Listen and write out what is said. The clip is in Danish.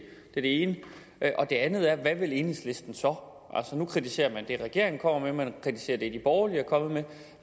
er det ene det andet er hvad vil enhedslisten så nu kritiserer man det regeringen kommer med man kritiserer det de borgerlige er kommet med